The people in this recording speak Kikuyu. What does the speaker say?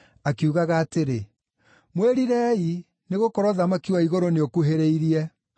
akiugaga atĩrĩ, “Mwĩrirei, nĩgũkorwo ũthamaki wa igũrũ nĩũkuhĩrĩirie.”